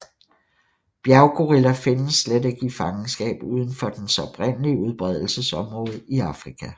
Bjerggorilla findes slet ikke i fangenskab udenfor dens oprindelige udbredelsesområde i Afrika